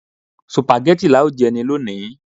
Sùpàgẹ́tì lá ó jẹ ní lọni